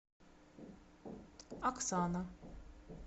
оксана